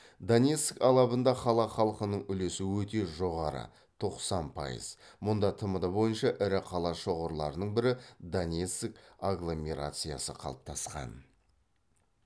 донецк алабында қала халқының үлесі өте жоғары тоқсан пайыз мұнда тмд бойынша ірі қала шоғырларының бірі донецк агломерациясы қалыптасқан